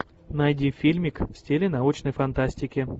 найди фильмик в стиле научной фантастики